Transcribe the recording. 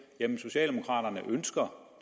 at socialdemokraterne ønsker